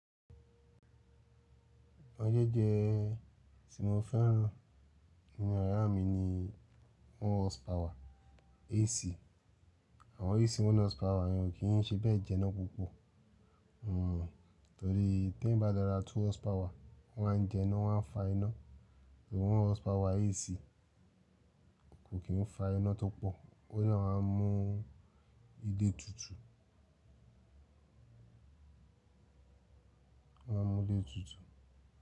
Ọjọ́jẹ́ ti mo fẹ́ràn nínú ara mi ni one horsepower AC. Àwọn AC one horsepower yẹn ò kí ń ṣe bẹ́ẹ̀ jẹ́ ná púpọ̀. Hmm, torí tí ẹ̀ bá dára two horsepower wọ́n á jẹ́ná wọ́n á fa iná. Torí one horsepower AC kò kí ń fa iná tó pọ̀, ó yà máa mú ilé tutù. Ó máa mú ilé tutù.